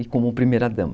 E como primeira dama.